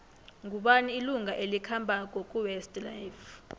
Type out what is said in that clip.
ngubani ilunga elikhambako kuwest life